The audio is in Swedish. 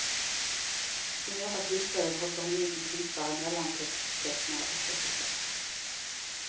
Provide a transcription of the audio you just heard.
Vid några tillfällen hoppade hon in som klippare, mellantexttecknare och regissör.